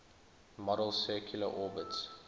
model's circular orbits